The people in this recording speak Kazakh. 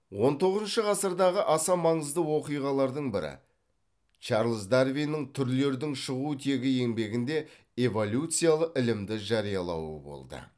он тоғызыншы ғасырдағы аса маңызды оқиғалардың бірі чарльз дарвиннің түрлердің шығу тегі еңбегінде эволюциялы ілімді жариялауы болды